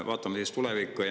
Vaatame siis tulevikku.